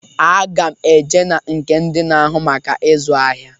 Aga m e je na nke ndị na-agụ maka ịzụ ahịa.